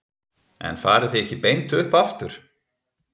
En farið þið ekki beint upp aftur?